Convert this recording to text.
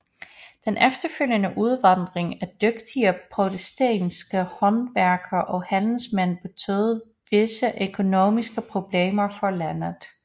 Den efterfølgende udvandring af dygtige protestantiske håndværkere og handelsmænd betød visse økonomiske problemer for landet